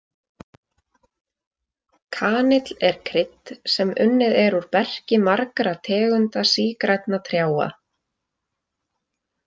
Kanill er krydd sem unnið er úr berki margra tegunda sígrænna trjáa.